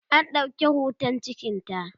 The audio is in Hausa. an ɗauki hoton cikinta